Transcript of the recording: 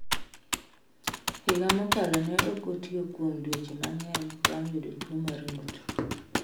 Higa mokalo ne ok otiyo kuom dweche mang’eny bang’ yudo tuwo mar ng’ut.